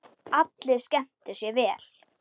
Allir skemmtu sér vel.